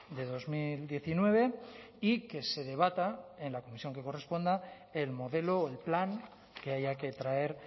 de dos mil diecinueve y que se debata en la comisión que corresponda el modelo o el plan que haya que traer